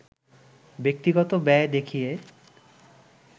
ব্যক্তিগত ব্যয় দেখিয়ে